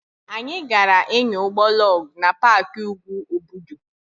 Anyị gaara ịnya ụgbọ lọg na paaki úgwù Obudu.